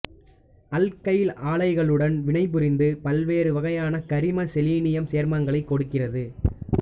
alkyl ஆலைடுகளுடன் வினைபுரிந்து பல்வேறு வகையான கரிம செலீனியம் சேர்மங்களைக் கொடுக்கிறது